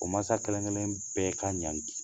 O masa kelen kelen bɛɛ ka ɲangi.